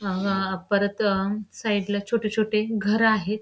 अ अ परत साईडला छोटे-छोटे घर आहेत.